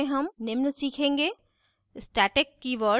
इस tutorial में हम निम्न सीखेंगे